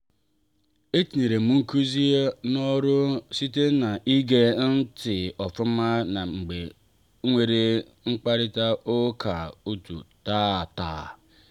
etinyere m nkuzi a n'oru site ná ige ntị ofuma mgbe enwere mkparita ụka otú taata.